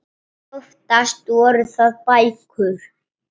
Oftast voru það bækur.